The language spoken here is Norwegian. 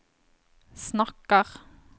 snakker